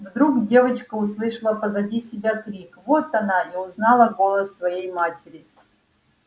вдруг девочка услышала позади себя крик вот она и узнала голос своей матери